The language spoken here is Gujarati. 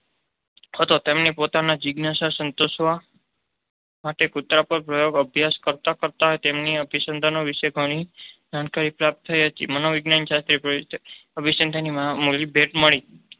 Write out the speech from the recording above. હતો. તેમણે પોતાની જિજ્ઞાસા સંતોષવા માટે કૂતરા પર પ્રાયોગિક અભ્યાસ કરતાં કરતાં તેમને અભિસંધાન વિષેની ઘણી જાણકારી પ્રાપ્ત થઈ અને મનોવિજ્ઞાનને અભિસંધાનની મહામૂલી ભેટ મળી.